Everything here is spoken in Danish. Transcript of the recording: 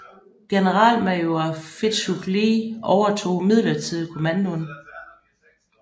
Generalmajor Fitzhugh Lee overtog midlertidigt kommandoen